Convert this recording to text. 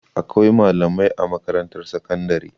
Akwai malamai a makarantar sakandare.